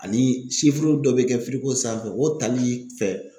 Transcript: Ani dɔ be kɛ sanfɛ o tali fɛ